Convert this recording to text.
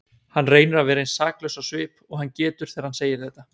Hann reynir að vera eins saklaus á svip og hann getur þegar hann segir þetta.